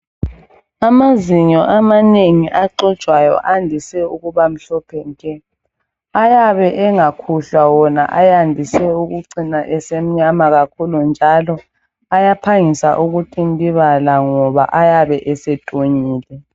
Amazinyo amanengi axujwayo andise ukuba mhlophe nke. Ayabe engakhuhlwa wona ayandise ukucina esemnyama kakhulu. Njalo ayaphangisa ukutintibala ngoba ayabe esetunyile.